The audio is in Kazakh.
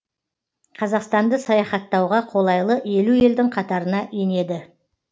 қазақстанды саяхаттауға қолайлы елу елдің қатарына енеді